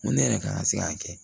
N ko ne yɛrɛ ka kan ka se k'a kɛ